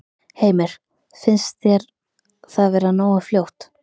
Heimir: Finnst þér það vera nógu fljótt?